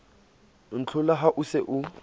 ntlhola ha o se o